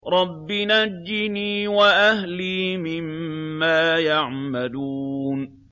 رَبِّ نَجِّنِي وَأَهْلِي مِمَّا يَعْمَلُونَ